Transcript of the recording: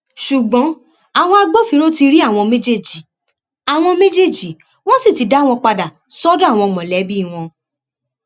ṣùgbọn àwọn agbófinró ti rí àwọn méjèèjì àwọn méjèèjì wọn sì ti dá wọn padà sọdọ àwọn mọlẹbí wọn